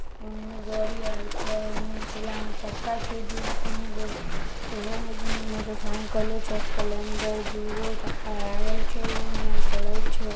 उ गाड़ी आईल छ उ ठेला में चक्का छ दू तीन गो ओहो में मोटरसाइकिलों छ स्प्लेंडर दू गो चक्का लागल छ एगो म उ चलाइल छे।